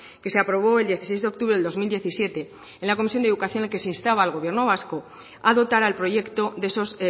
que se aprobó el dieciséis de octubre del dos mil diecisiete en la comisión de educación en la que se instaba al gobierno vasco a dotar al proyecto de esos